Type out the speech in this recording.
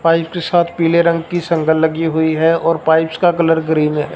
Pipes के साथ पीले रंग की संगल लगी हुई है और पाइप्स का कलर ग्रीन है।